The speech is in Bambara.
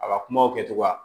A ka kumaw kɛcogoya